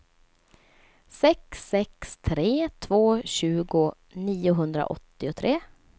sex sex tre två tjugo niohundraåttiotre